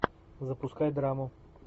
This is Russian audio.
запускай драму